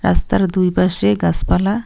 রাস্তার দুই পাশে গাছপালা--